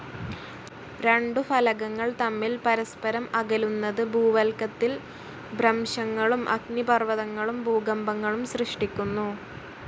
രണ്ടു ഫലകങ്ങൾ തമ്മിൽ പരസ്പരം അകലുന്നത്, ഭൂവൽക്കത്തിൽ ഭ്രംശങ്ങളും, അഗ്നിപർവതങ്ങളും, ഭൂകമ്പങ്ങളും സൃഷ്ടിക്കുന്നു.